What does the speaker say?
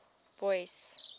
boyce